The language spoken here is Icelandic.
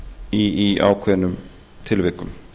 í ákveðnum tilvikum